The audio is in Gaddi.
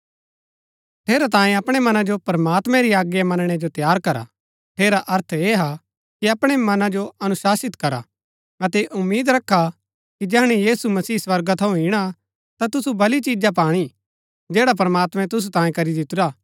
ठेरैतांये अपणै मना जो प्रमात्मैं री आज्ञा मनणै जो तैयार करा ठेरा अर्थ ऐह हा कि अपणै मना जो अनुशाशित करा अतै ऐह उम्मीद रखा कि जैहणै यीशु मसीह स्वर्गा थऊँ इणा ता तुसु भली चिजा पाणी जैडा प्रमात्मैं तुसु तांये करी दितुरा